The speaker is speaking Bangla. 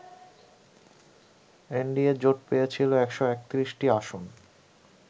এনডিএ জোট পেয়েছিল ১৩১টি আসন